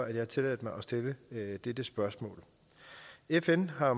jeg tilladt mig at stille dette spørgsmål fn har